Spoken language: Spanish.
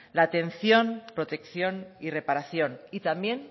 la atención protección y reparación y también